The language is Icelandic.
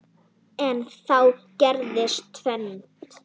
En þá gerist tvennt.